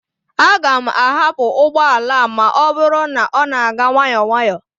Aga m ahapụ ụgbọ ala a ma ọ bụrụ na ọ na-aga nwayọọ nwayọọ